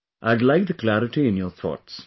I had liked the clarity in your thoughts